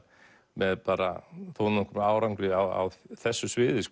með bara þó nokkrum árangri á þessu sviði